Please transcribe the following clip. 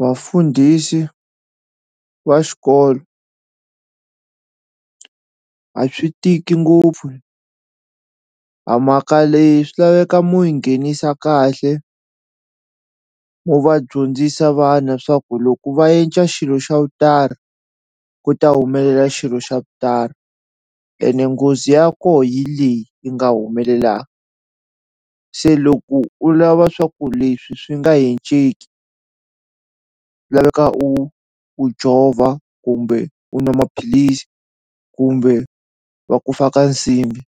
Vafundhisi va xikolo a swi tiki ngopfu a mhaka leyi swi laveka mu yi nghenisa kahle mu va dyondzisa vana swa ku loko va yenja xilo xa ku ta humelela xilo xa ku tani ene nghozi ya ko hi leyi yi nga humelela se loko u lava swa ku leswi swi nga laveka u u jova kumbe u nwa maphilisi kumbe va ku fa ka nsimbi